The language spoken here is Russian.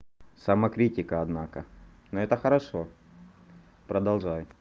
самокритика однако но это хорошо продолжай